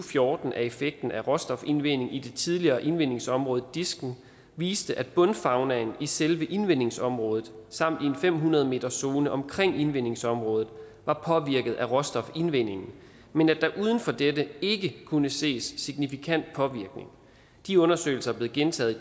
fjorten af effekten af råstofindvinding i det tidligere indvindingsområde disken viste at bundfaunaen i selve indvindingsområdet samt i en fem hundrede meterszone omkring indvindingsområdet var påvirket af råstofindvindingen men at der uden for dette ikke kunne ses signifikant påvirkning de undersøgelser er blevet gentaget i